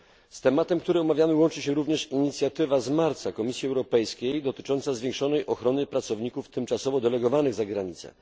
Z tematem, który omawiamy łączy się również marcowa inicjatywa Komisji Europejskiej dotycząca zwiększonej ochrony pracowników tymczasowo delegowanych za granicę.